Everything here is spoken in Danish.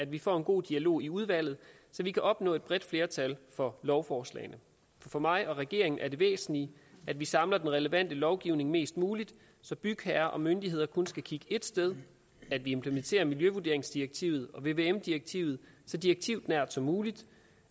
vi får en god dialog i udvalget så vi kan opnå et bredt flertal for lovforslagene for mig og regeringen er det væsentlige at vi samler den relevante lovgivning mest muligt så bygherrer og myndigheder kun skal kigge ét sted at vi implementerer miljøvurderingsdirektivet og vvm direktivet så direktivnært som muligt